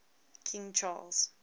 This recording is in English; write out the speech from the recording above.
king charles